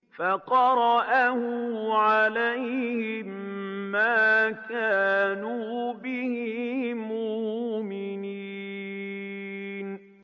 فَقَرَأَهُ عَلَيْهِم مَّا كَانُوا بِهِ مُؤْمِنِينَ